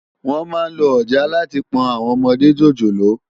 Wòn má n ló òjàá làtí fi pòn áwòn òmòdé jójólóò